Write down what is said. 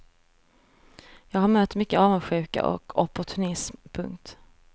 Jag har mött mycket avundsjuka och opportunism. punkt